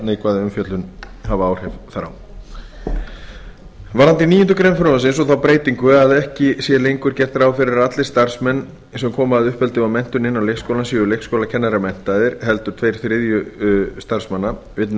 láta neikvæða umfjöllun hafa áhrif þar á varðandi níundu grein frumvarpsins og þá breytingu að ekki sé lengur gert ráð fyrir að allir starfsmenn sem koma að uppeldi og menntun innan leikskólans séu leikskólakennaramenntaðir heldur tveir þriðju starfsmanna vill